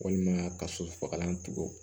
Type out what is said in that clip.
Walima ka sosofagalan tugun